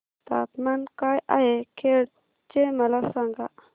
तापमान काय आहे खेड चे मला सांगा